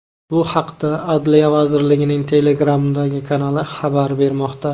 Bu haqda Adliya vazirligining Telegramdagi kanali xabar bermoqda .